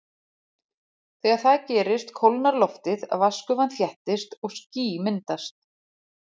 Þegar það gerist kólnar loftið, vatnsgufan þéttist og ský myndast.